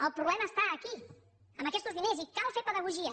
el problema està aquí amb aquestos diners i cal fer pedagogia